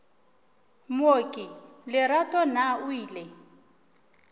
mooki lerato na o ile